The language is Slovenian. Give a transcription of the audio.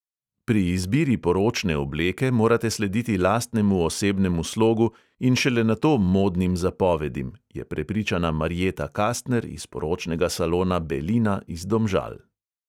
"Pri izbiri poročne obleke morate slediti lastnemu osebnemu slogu in šele nato modnim zapovedim," je prepričana marjeta kastner iz poročnega salona belina iz domžal.